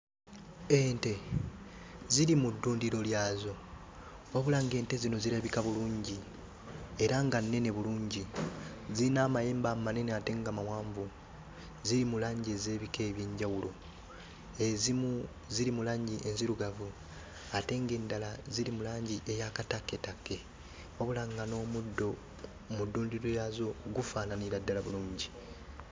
Ente ziri mu ddundiro lyazo wabula ng'ente zino zirabika bulungi era nga nnene bulungi. Zirina amayembe amanene ate nga mawanvu, ziri mu langi ez'ebika eby'enjawulo; ezimu ziri mu langi enzirugavu ate ng'endala ziri mu langi ey'akatakketakke wabula nga n'omuddo mu ddundiro lyazo gufaananira ddala bulungi.